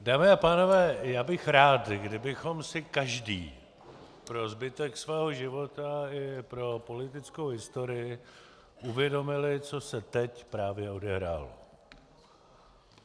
Dámy a pánové, já bych rád, kdybychom si každý pro zbytek svého života i pro politickou historii uvědomili, co se teď právě odehrálo.